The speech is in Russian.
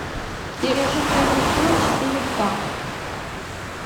пережить рождество четыре ка